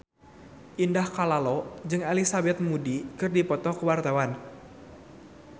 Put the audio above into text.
Indah Kalalo jeung Elizabeth Moody keur dipoto ku wartawan